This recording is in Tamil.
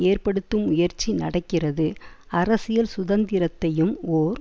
ஏற்படுத்தும் முயற்சி நடக்கிறது அரசியல் சுதந்திரத்தையும் ஓர்